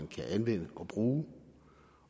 kan anvende og bruge